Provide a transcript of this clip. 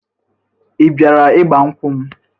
Ị bịara ịgbankwụ m?